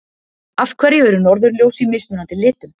Af hverju eru norðurljós í mismunandi litum?